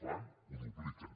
fan ho dupliquen